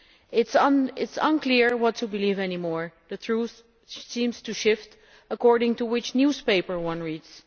It is unclear what to believe any more. The truth seems to shift according to which newspaper one reads.